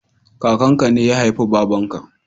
Kakan ka ne ya haifi baban ka